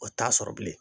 O t'a sɔrɔ bilen